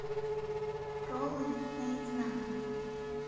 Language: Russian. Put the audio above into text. роллы наизнанку